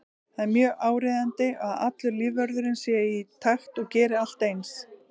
Það er mjög áríðandi að allur lífvörðurinn sé í takt og geri allt eins.